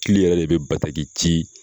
Kili yɛrɛ de bɛ ji